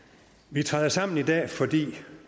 vi træder sammen i dag fordi